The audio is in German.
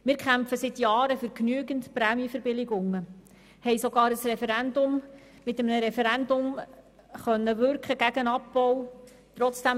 Wir kämpfen seit Jahren für genügend Prämienverbilligungen und haben bereits mit einem Referendum gegen den Abbau wirken können.